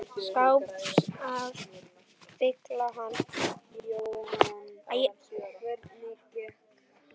skáps að fylla hann.